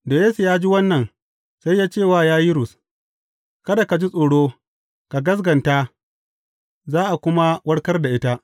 Da Yesu ya ji wannan, sai ya ce wa Yayirus, Kada ka ji tsoro, ka gaskata, za a kuma warkar da ita.